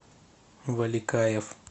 валикаев